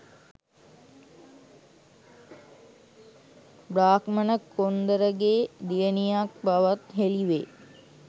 බ්‍රාහ්මණ කොඣරගේ දියණියක් බවත් හෙළිවේ.